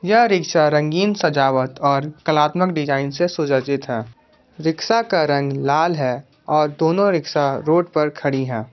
यह रिक्शा रंगीन सजावट और कलात्मक डिजाइन से सुसज्जित है रिक्शा का रंग लाल है और दोनों रिक्शा रोड पर खड़ी हैं।